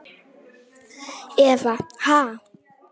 Eva: Ha?